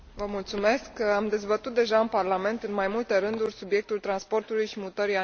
Am dezbătut deja în Parlament, în mai multe rânduri, subiectul transportului și mutării animalelor.